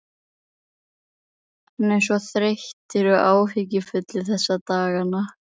Hann er svo þreyttur og áhyggjufullur þessa dagana.